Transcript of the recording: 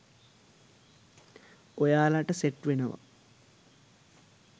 ඔයාලට සෙට් වෙනවා.